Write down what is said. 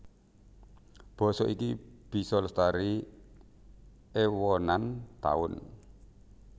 Basa iki bisa lestari èwonan taun